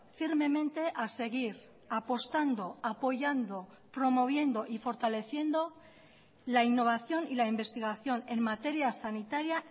firmemente a seguir apostando apoyando promoviendo y fortaleciendo la innovación y la investigación en materia sanitaria